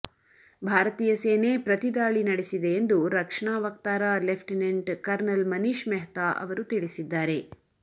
ಭಾರತೀಯ ಸೇನೆ ಪ್ರತಿ ದಾಳಿ ನಡೆಸಿದೆ ಎಂದು ರಕ್ಷಣಾ ವಕ್ತಾರ ಲೆಫ್ಟಿನೆಂಟ್ ಕರ್ನಲ್ ಮನೀಶ್ ಮೆಹ್ತಾ ಅವರು ತಿಳಿಸಿದ್ದಾರೆ